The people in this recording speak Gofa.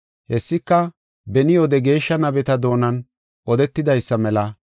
Hessika beni wode geeshsha nabeta doonan odetidaysa mela,